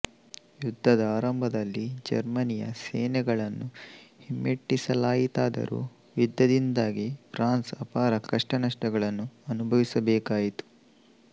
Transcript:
ಯುದ್ಧದ ಆರಂಭದಲ್ಲಿ ಜರ್ಮನಿಯ ಸೇನೆಗಳನ್ನು ಹಿಮ್ಮೆಟ್ಟಿಸಲಾಯಿತಾದರೂ ಯುದ್ಧದಿಂದಾಗಿ ಫ್ರಾನ್ಸ್ ಅಪಾರ ಕಷ್ಟನಷ್ಟಗಳನ್ನು ಅನುಭವಿಸಬೇಕಾಯಿತು